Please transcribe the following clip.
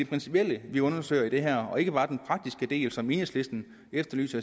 principielle vi undersøger i det her og ikke bare den praktiske del som enhedslisten efterlyser